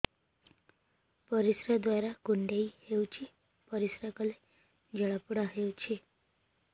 ପରିଶ୍ରା ଦ୍ୱାର କୁଣ୍ଡେଇ ହେଉଚି ପରିଶ୍ରା କଲେ ଜଳାପୋଡା ହେଉଛି